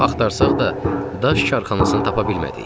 Çox axtarsaq da, daş karxanasını tapa bilmədik.